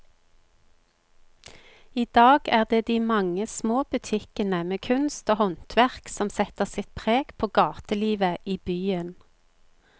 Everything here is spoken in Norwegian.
I dag er det de mange små butikkene med kunst og håndverk som setter sitt preg på gatelivet i byen.